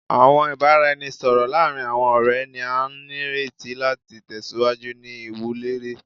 Awọn ibaraẹnisọrọ laarin awọn ọrẹ ni a nireti lati tẹsiwaju ni iwunlere